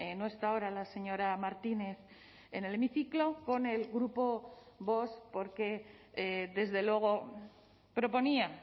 no está ahora la señora martínez en el hemiciclo con el grupo vox porque desde luego proponía